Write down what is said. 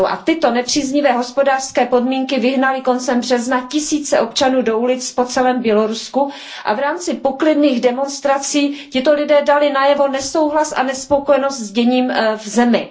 Tyto nepříznivé hospodářské podmínky vyhnaly koncem března tisíce občanů do ulic po celém Bělorusku a v rámci poklidných demonstrací tito lidé dali najevo nesouhlas a nespokojenost s děním v zemi.